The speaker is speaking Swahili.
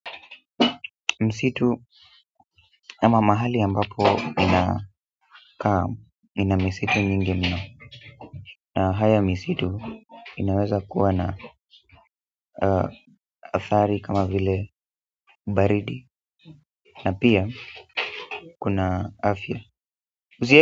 Msitu ama mahali ambapo inakaa ina misitu nyingi mno. Na haya msitu, inaweza kuwa na adhari kama vile baridi, na pia kuna afya.